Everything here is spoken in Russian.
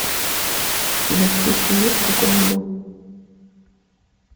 у тебя в списке есть кукольный дом